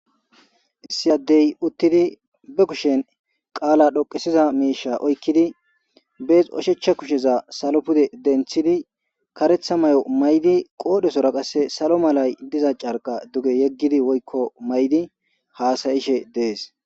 Issi addey uttidi be kushen qaala dhoqesiza miisha oykkidi bees oshechcha kusheza salo pude denthidi karetha mayo maydi qoodhesora qasse salo malay diza carqa duge yeggidi woykko maydi haasayishe dees.